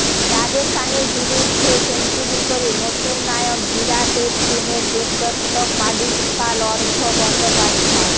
রাজস্থানের বিরুদ্ধে সেঞ্চুরি করে নতুন নায়ক বিরাটের টিমের দেবদত্ত পাডিক্কাল অর্ঘ্য বন্দ্যোপাধ্যায়